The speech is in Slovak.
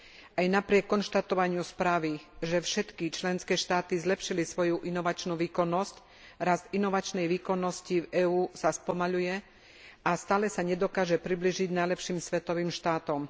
Aj napriek konštatovaniu správy, že všetky členské štáty zlepšili svoju inovačnú výkonnosť, rast inovačnej výkonnosti v EÚ sa spomaľuje a stále sa nedokáže priblížiť najlepším svetovým štátom.